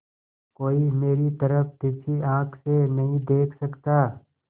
कोई मेरी तरफ तिरछी आँख से नहीं देख सकता